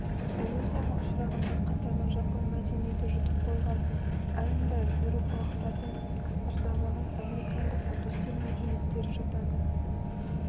эрозияға ұшырағандар қатарына жапон мәдениеті жұтып қойған айндар еуропалықтардың экспансиясына шыдамаған американдық үндістер мәдениеттері жатады